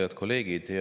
Head kolleegid!